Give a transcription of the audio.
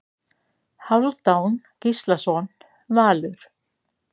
Hálfdán Gíslason Valur